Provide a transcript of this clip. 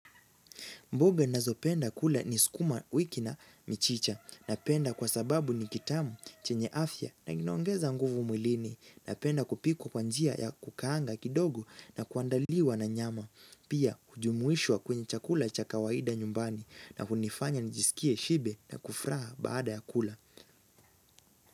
Mboga ninazopenda kula ni sukuma wiki na michicha napenda kwa sababu ni kitamu chenye afya na kinaongeza nguvu mwilini napenda kupika kwa njia ya kukaanga kidogo na kuandaliwa na nyama. Pia hujumuishwa kwenye chakula cha kawaida nyumbani na kunifanya nijisikie shibe na kufuraha baada ya kula.